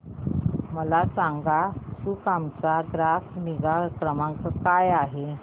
मला सांगाना सुकाम चा ग्राहक निगा क्रमांक काय आहे